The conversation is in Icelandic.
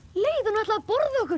leið hún ætlaði að borða okkur